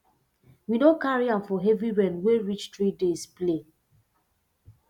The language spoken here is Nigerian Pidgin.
we no carry um for heavy rain wey reach three days play